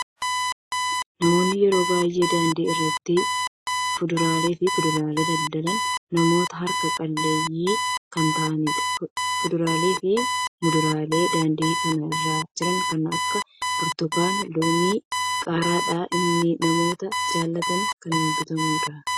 Namoonni yeroo baay'ee daandii irratti fuduraa fi kuduraa daldalan, namoota harka qalleeyyii kan ta'anidha. Fuduraa fi muduraan daandii kana irra jiran kan akka burtukaana, loomii fi qaaraadha. Innis namoota jaalataniin kan bitamudha.